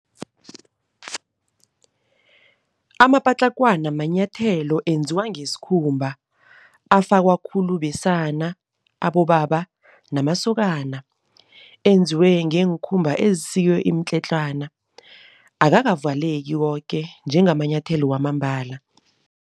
Amapatlakwana manyathelo enziwa ngesikhumba afakwa khulu besana, abobaba namasokana. Enziwe ngeenkhumba ezisikwe imitletlwana. Akakavaleki koke njengamanyathelo wamambala.